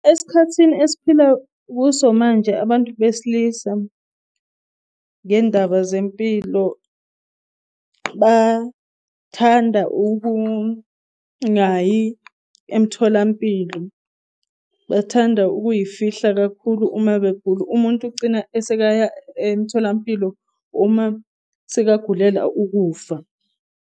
Esikhathini esphila kuso manje, abantu besilisa ngendaba zempilo bathanda ukungayi emtholampilo. Bathanda ukuyifihla kakhulu uma begula, umuntu ugcina esekaya emtholampilo uma sekagulela ukufa.